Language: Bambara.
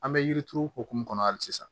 An bɛ yirituru hukumu kɔnɔ hali sisan